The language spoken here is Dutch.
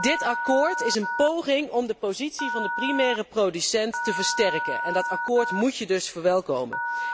Dit akkoord is een poging om de positie van de primaire producent te versterken en dat akkoord moet je dus verwelkomen.